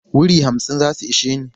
Wuri hamsin za su ishe ni.